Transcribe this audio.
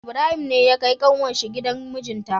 Ibrahim ne ya kai kanwar shi gidan mijinta